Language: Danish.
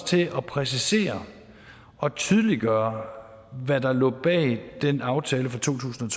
til at præcisere og tydeliggøre hvad der lå bag den aftale fra to tusind